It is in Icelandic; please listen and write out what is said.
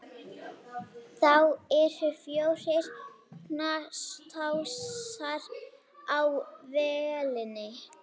Þá eru fjórir knastásar á vélinni.